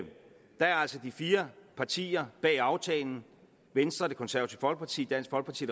altså de fire partier bag aftalen venstre det konservative folkeparti dansk folkeparti